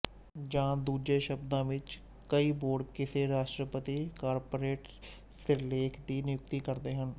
ਜਾਂ ਦੂਜੇ ਸ਼ਬਦਾਂ ਵਿੱਚ ਕਈ ਬੋਰਡ ਕਿਸੇ ਰਾਸ਼ਟਰਪਤੀ ਕਾਰਪੋਰੇਟ ਸਿਰਲੇਖ ਦੀ ਨਿਯੁਕਤੀ ਕਰਦੇ ਹਨ